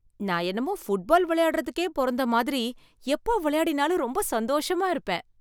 நான் என்னமோ ஃபுட்பால் விளையாடுறதுக்கே பொறந்த மாதிரி, எப்ப விளையாடினாலும் ரொம்ப சந்தோஷமா இருப்பேன்.